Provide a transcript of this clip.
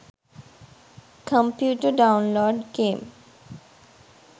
computer download game